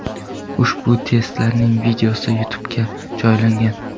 Ushbu testlarning videosi YouTube’ga joylangan .